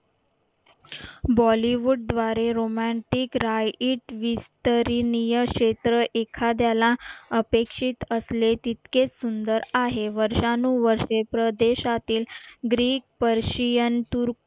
बॉलीवूड द्वारे romantic right वीस्तरीन य क्षेत्र एखाद्याला अपेक्षित असले तितके सुंदर आहे वर्षांनुवर्षे प्रदेश्यातील ग्रीक, पर्शियन, तुर्क